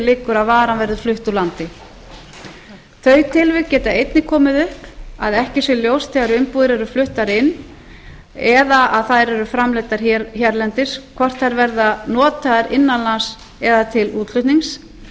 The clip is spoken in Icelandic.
liggur að varan verði flutt úr landi þau tilvik geta einnig komið upp að ekki sé ljóst þegar umbúðir eru fluttar inn eða þær eru framleiddar hérlendis hvort þær verða notaðar innan lands eða til útflutnings